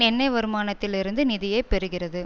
எண்ணெய் வருமானத்தில் இருந்து நிதியை பெறுகிறது